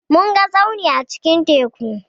Mun ga tsauni a cikin teku.